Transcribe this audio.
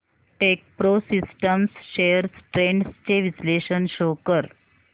Techpro systems shares trends चे विश्लेषण show कर